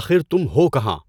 آخر تُم ہو کہاں ؟